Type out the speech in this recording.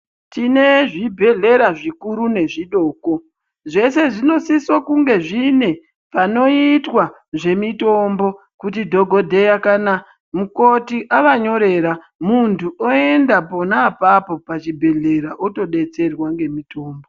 Tine zvibhedhlera zvikuru nezvidoko zveshe zvinosisa kunge zvine panoitwa ngezvemitombo kuti dhokodheya kana mukoti avanyorera muntu oenda pona apapo pachibhedhleya otodetserwa ngemitombo.